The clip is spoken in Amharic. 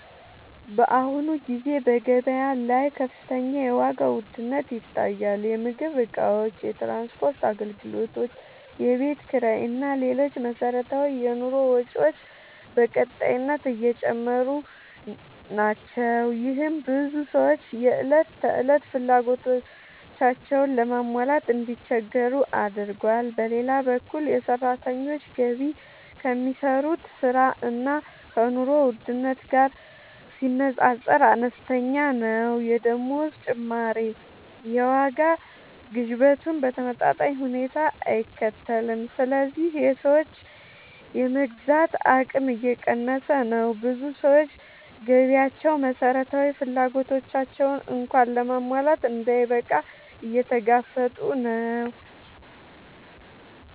በአሁኑ ጊዜ በገበያ ላይ ከፍተኛ የዋጋ ውድነት ይታያል። የምግብ እቃዎች፣ የትራንስፖርት አገልግሎቶች፣ የቤት ኪራይ እና ሌሎች መሠረታዊ የኑሮ ወጪዎች በቀጣይነት እየጨመሩ ናቸው። ይህም ብዙ ሰዎች የዕለት ተዕለት ፍላጎቶቻቸውን ለማሟላት እንዲቸገሩ አድርጓል። በሌላ በኩል የሰራተኞች ገቢ ከሚሰሩት ሥራ እና ከኑሮ ውድነቱ ጋር ሲነጻጸር አነስተኛ ነው። የደመወዝ ጭማሪ የዋጋ ግሽበቱን በተመጣጣኝ ሁኔታ አይከተልም፣ ስለዚህ የሰዎች የመግዛት አቅም እየቀነሰ ነው። ብዙ ሰዎች ገቢያቸው መሠረታዊ ፍላጎቶቻቸውን እንኳን ለማሟላት እንዳይበቃ እየተጋፈጡ ነው።